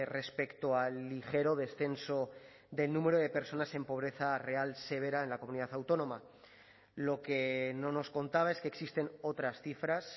respecto al ligero descenso del número de personas en pobreza real severa en la comunidad autónoma lo que no nos contaba es que existen otras cifras